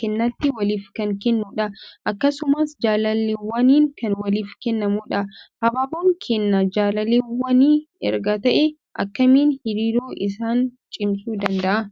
kennaatti waliif kan kennudha. Akkasumas jaalalleewwaniin kan waliif kennamudha. Habaaboon kennaa jaalalleewwanii erga ta'ee akkamiin hariiroo isaanii cimsuu danda'a?